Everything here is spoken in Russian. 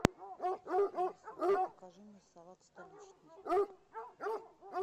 алиса закажи мне салат столичный